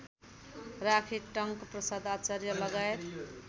राखी Tanka Prasad आचार्यलगायत